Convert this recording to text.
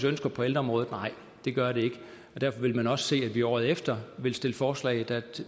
ønsker på ældreområdet nej det gør det ikke derfor vil man også se at vi året efter vil stille forslag